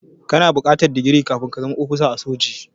Kana buƙatar digiri kafin ka zama ofisa a soji.